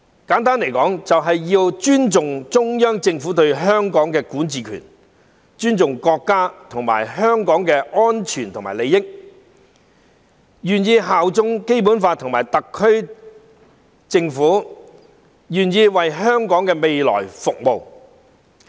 簡單來說，就是要尊重中央政府對香港的管治權，保護國家和香港的安全和利益，願意效忠《基本法》和特區政府，願意為香港的未來服務。